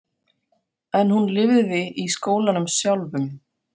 En hún lifði í skólanum sjálfum.